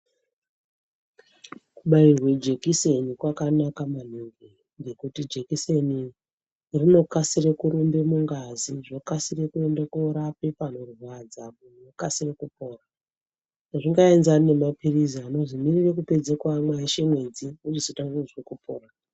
Kubairwe jekiseni kwakanaka maningi. Ngekuti jekiseni rinokasire kurumbe mungazi zvokasire kuende korape panorwadza pokasire kupora. Hazvingaenzani nemapirizi anozi mirire kupedze kuamwa eshe mwedzi wochizotange kuzwe kupora.